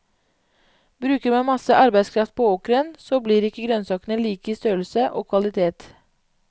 Bruker man masse arbeidskraft på åkeren, så blir ikke grønnsakene lik i størrelse og kvalitet.